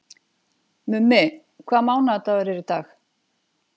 Mummi, hvaða mánaðardagur er í dag?